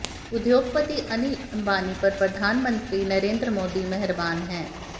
उद्योगपति अनिल अंबानी पर प्रधानमंत्री नरेंद्र मोदी मेहरबान है